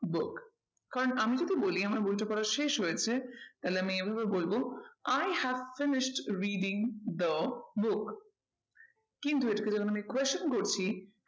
Book কারণ আমি যদি বলি আমার বইটা পড়া শেষ হয়েছে তাহলে আমি এভাবে বলবো i have finished reading the book কিন্তু এটাকে যখন আমি question করছি